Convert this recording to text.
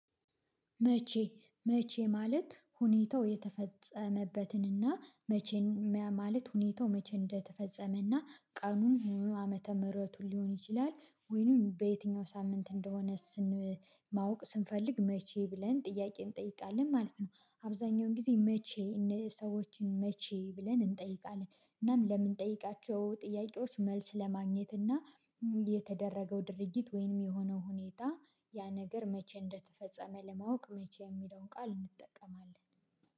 መቼ መቼ ማለት ሁኔታው የተፈጸመበትንና መቼን ማለት ሁኔታው መቼ እንደተፈጸመና ቀኑን ሙሉ ዓመተ ምህረቱን ሊሆን ይችላል ወይንም በየትኛው ሳምንት እንደሆነ ማወቅ ስንፈልግ መቼ ብለን ጥያቄን እንጠይቃለን ማለት ነው። አብዛኛውን ጊዜ መቼ ሰዎችን መቼ ብለን እንጠይቃለን እናም ለምንጠይቃቸው ጥያቄዎች መልስ ለማግኘት እና። የተደረገው ድርጊት ወይም የሆነው ሁኔታ ያ ነገር መቼ እንደተፈጸመ ለማወቅ መቼ የሚለውን ቃል እንጠቀማለን።